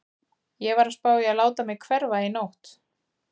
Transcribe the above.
Ég var að spá í að láta mig hverfa í nótt.